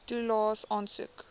toelaes aansoek